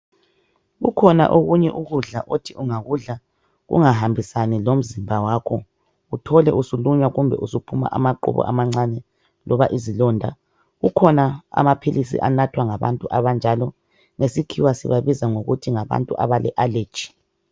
Kukhona okunye ukudla othi ungakudla kungahambisani lomzimba wakho uthole usulunywa kumbe usuphuma amaqubu amancane loba izilonda kukhona amaphilisi anathwa ngabantu abanjalo ngesikhiwa sibabiza ngokuthi ngabantu abale allergy.